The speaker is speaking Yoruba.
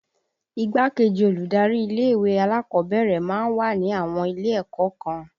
Igbá-kejì olùdarí ilé ìwé alákọ̀ọ́bẹ̀rẹ̀ máa ń wà ní àwọn ilé ẹ̀kọ́ kan